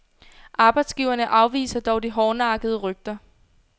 Arbejdsgiverne afviser dog de hårdnakkede rygter.